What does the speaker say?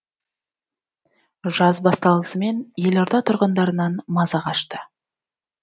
жаз басталысымен елорда тұрғындарынан маза қашты